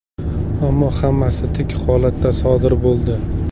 Ammo hammasi tik holatda sodir bo‘ldi.